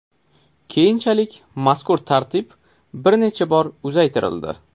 Keyinchalik mazkur tartib bir necha bor uzaytirildi.